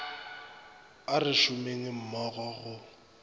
a re šomeng mmogo go